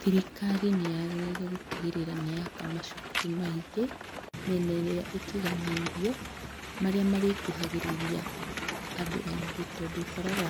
Thirikari nĩyagĩrĩire gũtigĩrĩra nĩ yaka macukuru maingĩ mĩena ĩrĩa itiganĩirio marĩa marĩkuhagĩrĩria andũ aingĩ, tondũ ũkoraga